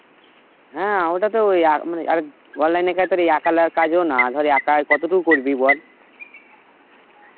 হ্যাঁ ওটা তো ওই আম~ আর online এর কাজ তোর এই একালার কাজও না, ধর একাই কতটুকু করবি বল?